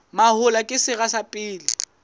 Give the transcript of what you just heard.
mahola ke sera sa pele